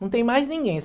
Não tem mais ninguém.